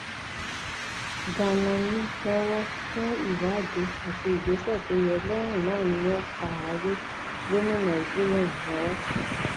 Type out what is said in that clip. danami lowó fún ìwádìí àti ìgbésẹ tó yẹ lẹyìn náà ni wọn fà á lé gómìnà zulum lọwọ